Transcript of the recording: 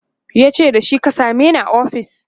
yace da shi " ka sameni a ofis!"